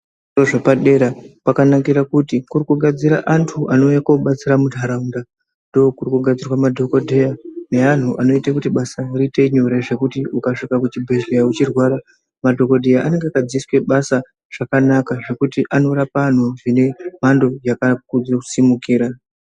Zvikora zvepadera kwakanakia kuti kurikuga antu anouya kobatsira mundaaunda. Ndokuri kugadziwa madhogodheya neantu anoite kuti basa riite nyore zvekuti ukasvika kuchibhedhleya uchirwara madhogodheya anenge akadzidziswe basa zvanakaaka. Zvekuti anorapa antu zvine mhando yakakodzere kusimukira.